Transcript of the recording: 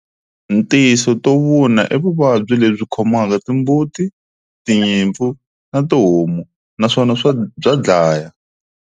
Tinso to vuna i vuvabyi lebyi khomaka timbuti, tinyimpfu na tihomu naswona bya dlaya.